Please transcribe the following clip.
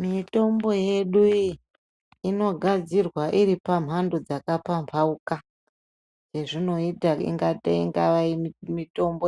Mitombo yedu iyi inogadzirwa iri paka mhando dzaka pambaukana yezvingaita ungava mutombo